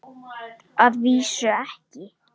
LÁRUS: Að vísu ekki.